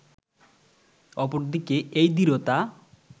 অপরদিকে এ দৃঢ়তা